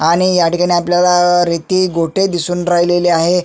आणि ह्या ठिकाणी आपल्याला रेती गोटे दिसून राहिलेले आहे.